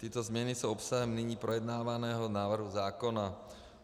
Tyto změny jsou obsahem nyní projednávaného návrhu zákona.